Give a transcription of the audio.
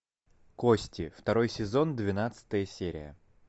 кости второй сезон двенадцатая серия